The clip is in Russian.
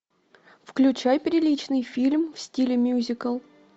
включай приличный фильм в стиле мюзикл